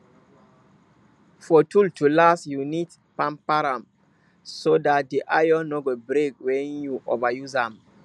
for tool to last you need pamper am so dat de iron no go break wen you over use am